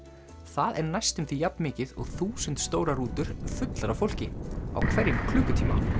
það er næstum jafn mikið og þúsund stórar rútur fullar af fólki á hverjum klukkutíma